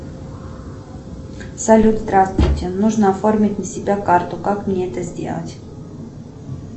салют здравствуйте нужно оформить на себя карту как мне это сделать